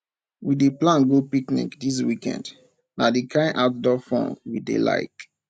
we dey plan go picnic dis weekend na di kain outdoor fun we dey like